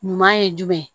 Ɲuman ye jumɛn ye